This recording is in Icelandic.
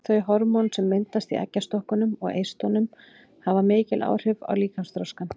Þau hormón sem myndast í eggjastokkunum og eistunum hafa mikil áhrif á líkamsþroskann.